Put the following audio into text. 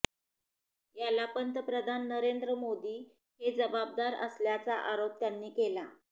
याला पंतप्रधान नरेंद्र मोदी हे जबाबदार असल्याचा आरोप त्यानी केला